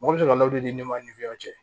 Mɔgɔ bɛ sɔrɔ ka lawuli ne ma niw ye